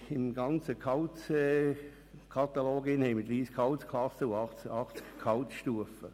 – Im gesamten Gehaltskatalog befinden sich 30 Gehaltsklassen und 80 Gehaltsstufen.